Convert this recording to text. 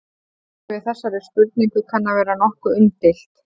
Svarið við þessari spurningu kann að vera nokkuð umdeilt.